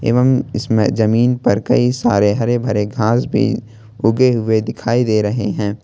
एवं इसमें जमीन पर कई सारे हरे भरे घास भी उगे हुए दिखाई दे रहे हैं।